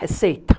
Receita.